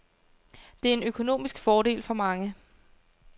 Det er en økonomisk fordel for mange.